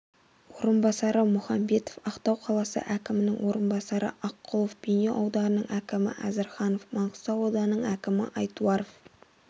орынбасары мұханбетов ақтау қаласы әкімінің орынбасары аққұлов бейнеу ауданының әкімі әзірханов маңғыстау ауданының әкімі айтуаров